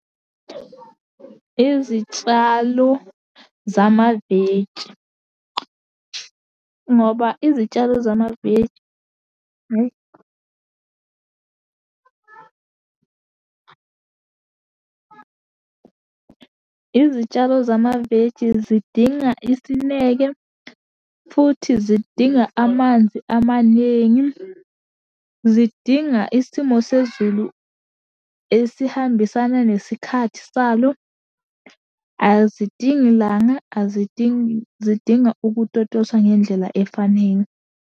Izitshalo zamaveji, ngoba izitshalo zamaveji hhayi . Izitshalo zamaveji zidinga isineke, futhi zidinga amanzi amaningi. Zidinga isimo sezulu esihambisana nesikhathi salo. Azidingi langa, azidingi, zidinga ukutotoswa ngendlela efanele.